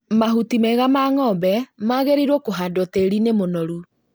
Mahuti mega ma ng'ombe magĩrĩirwo kũhandwo tĩri-inĩ mũnoru